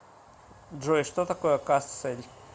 джой что такое кассель